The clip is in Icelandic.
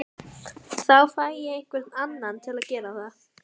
Þá fæ ég einhvern annan til að gera það